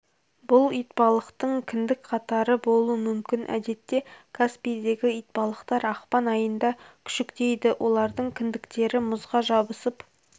бұл итбалықтың кіндік қатары болуы мүмкін әдетте каспийдегі итбалықтар ақпан айында күшіктейді олардың кіндіктері мұзға жабысып